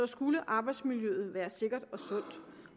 skulle arbejdsmiljøet være sikkert og sundt